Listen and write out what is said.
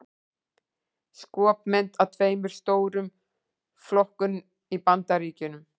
Skopmynd af tveimur stóru flokkunum í Bandaríkjunum.